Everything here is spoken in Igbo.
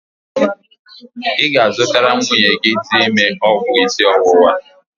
Ị ga-azụtara nwunye gị dị ime ọgwụ isi ọwụwa?